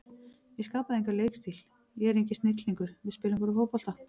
Ég skapaði engan leikstíl, ég er enginn snillingur, við spilum bara fótbolta.